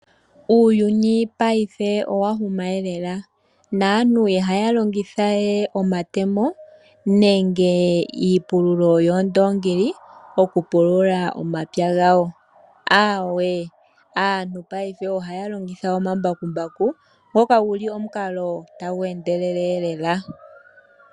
Uuyuni paife owa huga eelela. Naantu paife ihaya longitha we omatemo nenge iipululo yoondongi oku pulula omapya gawo, aawe aantu paife ohaya longitha omambakumbaku ngoka guli omukalo tagu endelele eelela .